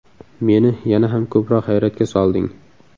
Meni yana ham ko‘proq hayratga solding.